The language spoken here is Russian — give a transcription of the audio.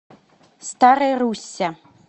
старой руссе